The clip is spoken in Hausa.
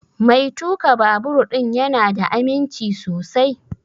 Mai tuƙa babur ɗin ya na da aminci sosai?